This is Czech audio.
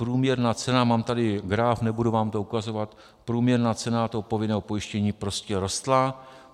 Průměrná cena, mám tady graf, nebudu vám to ukazovat, průměrná cena toho povinného pojištění prostě rostla.